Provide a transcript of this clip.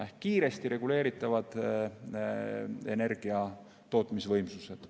Need on kiiresti reguleeritavad energiatootmisvõimsused.